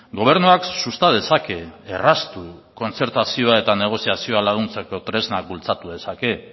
gobernuak susta dezake erraztu kontzertazioa eta negoziazioa laguntzeko tresnak bultzatu dezake